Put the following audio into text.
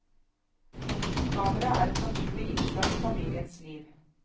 Kameraet er et naturlig innslag i familiens liv.